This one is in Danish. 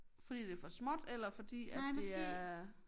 Fordi det for småt eller fordi at det er